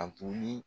A toli